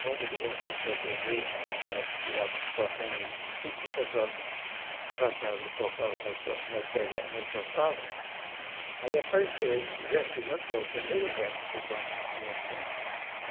Quando as pessoas aprenderam que nós estávamos já tocando tudo que o pessoal cantava e tocava, nós to nós pega nós tocava, aí apareceu esse verso de Lampião, o primeiro verso do bando de Lampião.